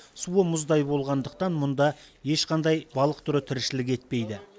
суы мұздай болғандықтан мұнда ешқандай балық түрі тіршілік етпейді